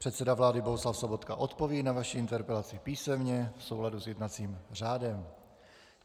Předseda vlády Bohuslav Sobotka odpoví na vaši interpelaci písemně v souladu s jednacím řádem.